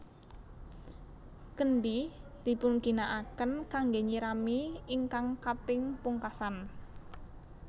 Kendhi dipunginakaken kanggè nyirami ingkang kaping pungkasan